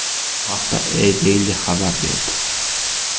Bu haqda EADaily xabar berdi.